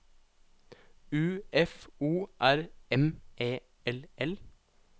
U F O R M E L L